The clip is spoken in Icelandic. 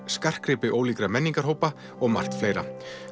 skartgripi ólíkra menningarhópa og margt fleira